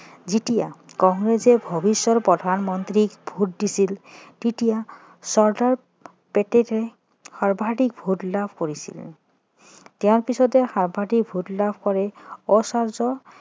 যেতিয়া কংগ্ৰেছে ভৱিষ্যতৰ প্ৰধানমন্ত্ৰীক ভোট দিছিল তেতিয়া চৰ্দাৰ পেটেলে সৰ্বাধিক ভোট লাভ কৰিছিল তেওঁৰ পাছতে সৰ্বাধিক ভোট লাভ কৰে আচাৰ্য্য